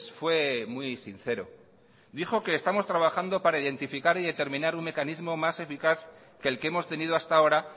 fue muy sincero dijo que estamos trabajando para identificar y determinar un mecanismo más eficaz que el que hemos tenido hasta ahora